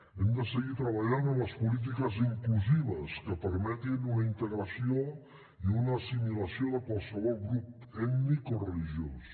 hem de seguir treballant en les polítiques inclusives que permetin una integració i una assimilació de qualsevol grup ètnic o religiós